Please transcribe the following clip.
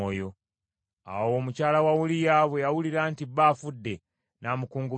Awo mukyala wa Uliya bwe yawulira nti bba afudde, n’amukungubagira.